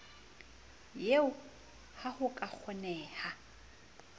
eo ha ho ka kgoneha